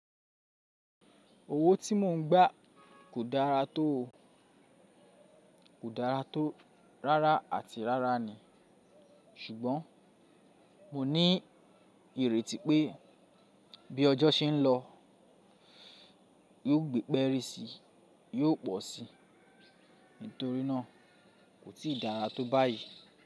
Owó tí mò ń gbà kò dára tó, kò dára tó, rárá àti rárá ni. Ṣùgbọ́n mo ní ìrètí pé bí ọjọ́ ṣe ń lọ, yóò gbé pẹ́ri sí i, yóò pọ̀ sí i. Nítorí náà, kò tíì dára tó báyìí.